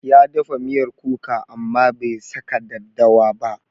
Ya dafa miyar kuka amma bai saka daddawa ba.